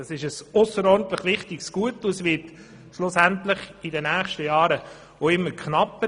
Das ist ein ausserordentlich wichtiges Gut, und es wird in den nächsten Jahren auch immer knapper.